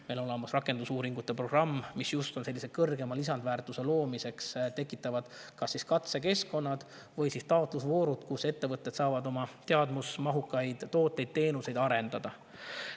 Meil on olemas rakendusuuringute programm, mis kõrgema lisandväärtuse loomiseks tekitab kas taotlusvoorud või katsekeskkonnad, kus ettevõtted saavad oma teadmusmahukaid tooteid-teenuseid arendada.